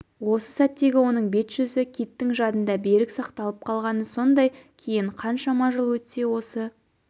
осы сәттегі оның бет-жүзі киттің жадында берік сақталып қалғаны сондай кейін қаншама жыл өтсе осы